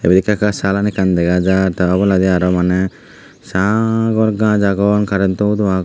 ibet ekka ekka salan ekkan dega jaar ta oboladi aro maney sagor gaj agon karento hudo agon.